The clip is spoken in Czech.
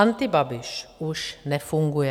Antibabiš už nefunguje.